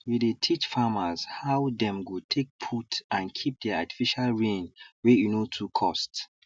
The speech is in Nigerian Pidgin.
we dey teach farmers how dem go take put and keep their artificial rain wey e no too cost